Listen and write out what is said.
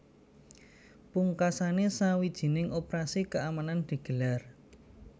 Pungkasané sawijining operasi keamanan digelar